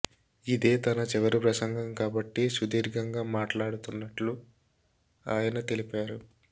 ఇదే తన చివరి ప్రసంగం కాబట్టి సుదీర్ఘంగా మాట్లాడుతున్నట్లు ఆయన తెలిపారు